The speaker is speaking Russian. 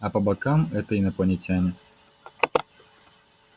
а по бокам это инопланетяне